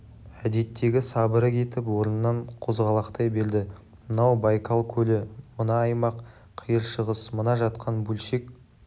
әдеттегі сабыры кетіп орнынан қозғалақтай берді мынау байкал көлі мына аймақ қиыр шығыс мына жатқан бөлшек